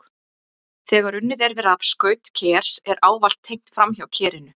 Þegar unnið er við rafskaut kers er ávallt tengt framhjá kerinu.